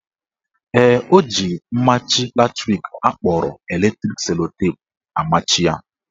Ee, o ji mmachi latrik akpọrọ electric sellotape amachi ya.